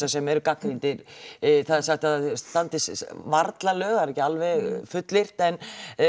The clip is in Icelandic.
sem eru gagnrýndir það er sagt að það standist varla lög það er ekki alveg fullyrt en